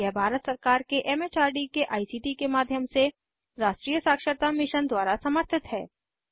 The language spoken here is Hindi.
यह भारत सरकार के एम एच आर डी के आई सी टी के माध्यम से राष्ट्रीय साक्षरता मिशन द्वारा समर्थित है